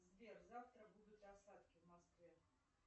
сбер завтра будут осадки в москве